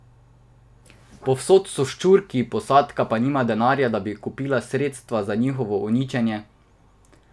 Povsod so ščurki, posadka pa nima denarja, da bi kupila sredstvo za njihovo uničenje.